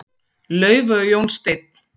Laufey og Jón Steinn.